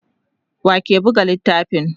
wake Buga littafin?